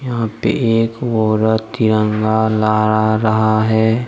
यहाँ पे एक औरत तिरंगा लहरा रहा है।